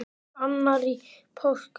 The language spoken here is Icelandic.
Annar í páskum.